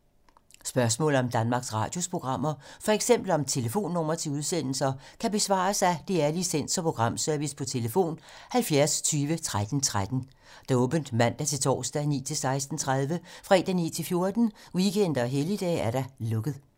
Spørgsmål om Danmarks Radios programmer, f.eks. om telefonnumre til udsendelser, kan besvares af DR Licens- og Programservice: tlf. 70 20 13 13, åbent mandag-torsdag 9.00-16.30, fredag 9.00-14.00, weekender og helligdage: lukket.